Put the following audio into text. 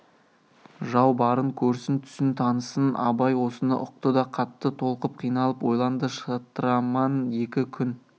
жау барын көрсін түсін танысын абай осыны ұқты да қатты толқып қиналып ойланды шытырман екі күн